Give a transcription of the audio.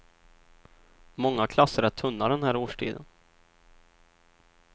Många klasser är tunna den här årstiden.